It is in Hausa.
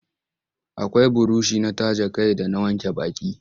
Akai burushi na taje kai da na wanke baki.